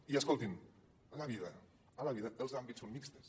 i escoltin a la vida els àmbits són mixtos